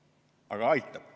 Aga aitab.